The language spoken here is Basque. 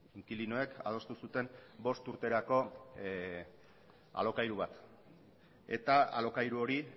inkilinoek adostu zuten bost urterako alokairu bat eta alokairu hori